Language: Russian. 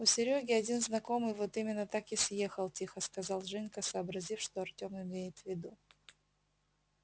у серёги один знакомый вот именно так и съехал тихо сказал женька сообразив что артем имеет в виду